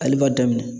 Ale b'a daminɛ